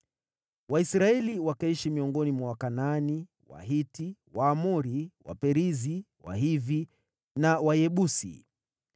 Waisraeli wakaishi miongoni mwa Wakanaani, Wahiti, Waamori, Waperizi, Wahivi na Wayebusi.